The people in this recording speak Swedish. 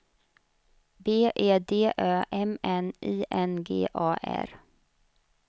B E D Ö M N I N G A R